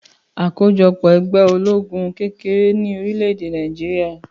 Àkójọpọ̀ ẹgbẹ́ olóògùn kékèké ní orílẹ̀-èdè Nàìjíríà